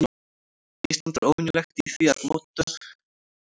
Ísland er óvenjulegt í því að möttulstrókur og gliðnunarbelti falli saman.